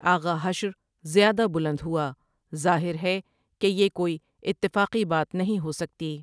آغا حشر زیادہ بلند ہوا ظاہر ہے کہ یہ کوئی اِتفاقی بات نہیں ہوسکتی ۔